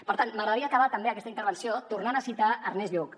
per tant m’agradaria acabar també aquesta intervenció tornant a citar ernest lluch